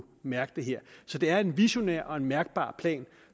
mærke det her så det er en visionær og en mærkbar plan